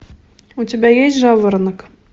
у тебя есть жаворонок